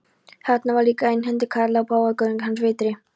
Þarna var líka einhentur karl og páfagaukurinn hans vitri.